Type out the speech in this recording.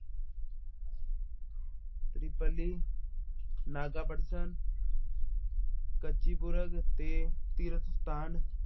ਤ੍ਰਿਪਲੀ, ਨਾਗਾਪਟਸਨ ਕੱਚੀ ਪੁਰਗ ਅਤੇ ਤੀਰਥ ਅਸਥਾਨ